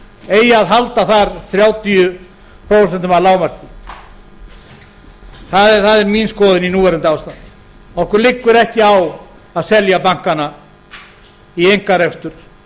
eigi að halda þar þrjátíu prósent að lágmarki það er mín skoðun í núverandi ástandi okkur liggur ekki á að selja bankana í einkarekstur